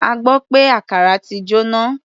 A gbọ́ pé àkàrà ti jóná.